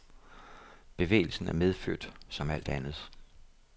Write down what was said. Bevægelsen er medfødt som alt andet.